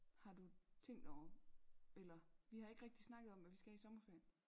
Har du tænkt over eller vi har ikke rigtig snakket om hvad vi skal i sommerferien